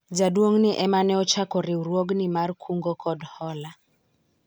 jaduong'ni ema ne ochako riwruogni mar kungo kod hola